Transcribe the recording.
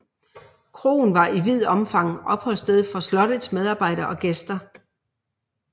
Kroen var i vidt omfang opholdssted for slottets medarbejdere og gæster